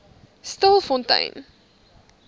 stilfontein